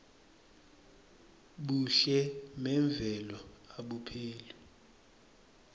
buhle memvelo abupheli